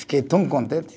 Fiquei tão contente.